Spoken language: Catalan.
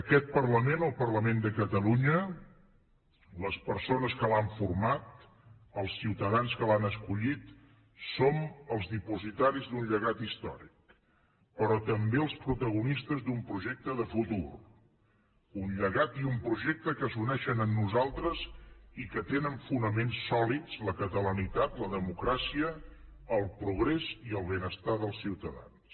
aquest parlament el parlament de catalunya les persones que l’han format els ciutadans que l’han escollit som els dipositaris d’un llegat històric però també els protagonistes d’un projecte de futur un llegat i un projecte que s’uneixen en nosaltres i que tenen fonaments sòlids la catalanitat la democràcia el progrés i el benestar dels ciutadans